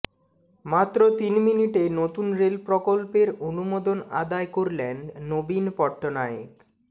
মাত্র তিন মিনিটে নতুন রেলপ্রকল্পের অনুমোদন আদায় করলেন নবীন পট্টনায়েক